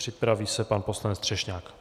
Připraví se pan poslanec Třešňák.